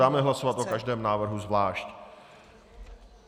Dáme hlasovat o každém návrhu zvlášť.